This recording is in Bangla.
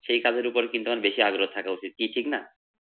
সেই কাজের উপর কিন্তু আমার বেশি আগ্রহ থাকা উচিত কি ঠিক না।